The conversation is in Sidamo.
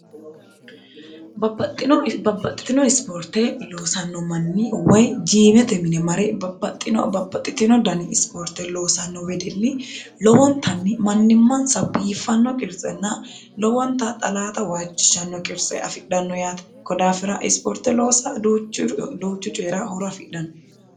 babbaxxitino ispoorte loosanno manni woy jiimete mine mare babbaxxino babbaxxitino dani ispoorte loosanno wedelli lowontanni mannimmansa biiffanno qirtsenna lowonta xalaata waajjishanno qirtse afidhanno yaate kodaafira ispoorte loosa duuchu coyira horo afidhanno